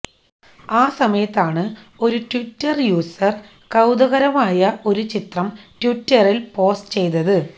ആ സമയത്താണ് ഒരു ട്വിറ്റര് യൂസര് കൌതുകകരമായ ഒരു ചിത്രം ട്വിറ്ററില് പോസ്റ്റ് ചെയ്തത്